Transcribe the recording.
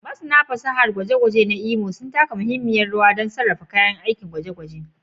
Masana fasahar ɗakin gwaje-gwaje a Imo suna taka muhimmiyar rawa wajen kiyayewa da sarrafa kayan aikin dakin gwaje-gwaje